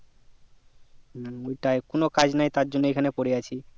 হুম ওটাই কোনো কাজ নাই তার জন্য এই খানে পরে আছি